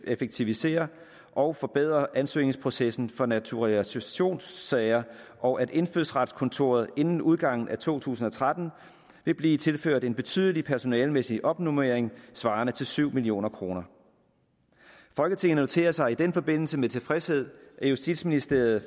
effektivisere og forbedre ansøgningsprocessen for naturalisationssager og at indfødsretskontoret inden udgangen af to tusind og tretten vil blive tilført en betydelig personalemæssig opnormering svarende til syv million kroner folketinget noterer sig i den forbindelse med tilfredshed at justitsministeriet